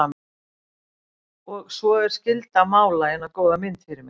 Og svo er skylda að mála eina góða mynd fyrir mig.